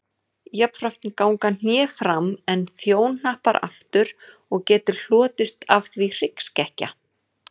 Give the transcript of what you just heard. Jafnframt ganga hné fram en þjóhnappar aftur og getur hlotist af því hryggskekkja.